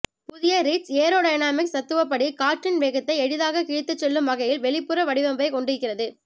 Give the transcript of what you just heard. புதிய Ritz aerodynamics தத்துவப்படி காற்றின் வேகத்தை எளிதாக கிழித்துச் செல்லும் வகையில் வெளிப்புற வடிவமைப்பை கொண்டிருக்கிறது